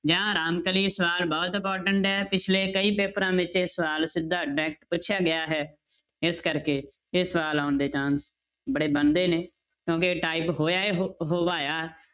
ਜਾਂ ਰਾਮਕਲੀ, ਸਵਾਲ ਬਹੁਤ important ਹੈ ਪਿੱਛਲੇ ਕਈ ਪੇਪਰਾਂ ਵਿੱਚ ਇਹ ਸਵਾਲ ਸਿੱਧਾ direct ਪੁੱਛਿਆ ਗਿਆ ਹੈ, ਇਸ ਕਰਕੇ ਇਹ ਸਵਾਲ ਆਉਣ ਦੇ chance ਬੜੇ ਬਣਦੇ ਨੇ, ਕਿਉਂਕਿ type ਹੋਇਆ ਹੋ~ ਹੋਵਾਇਆ